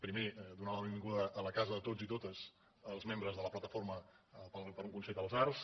primer donar la benvinguda a la casa a tots i totes els membres de la plataforma per a un consell de les arts